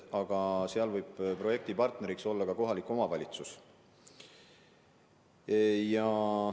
Aga projekti partneriks võib olla ka kohalik omavalitsus.